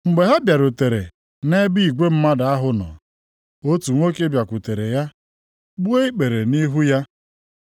Mgbe ha bịarutere nʼebe igwe mmadụ ahụ nọ, otu nwoke bịakwutere ya gbuo ikpere nʼihu ya,